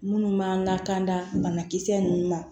Minnu b'an lakana banakisɛ nunnu ma